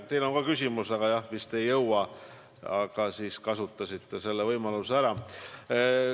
Teil on ka küsimus ette nähtud, aga te vist ei jõua seda esitada ja nüüd kasutasite võimaluse ära.